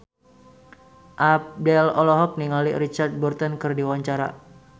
Abdel olohok ningali Richard Burton keur diwawancara